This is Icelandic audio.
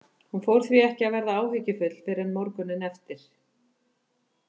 Hún fór því ekki að verða áhyggjufull fyrr en morguninn eftir.